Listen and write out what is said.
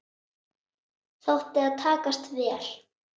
Þótti það takast vel.